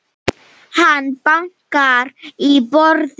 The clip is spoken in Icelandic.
Hann bankar í borðið.